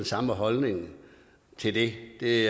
samme holdning til det det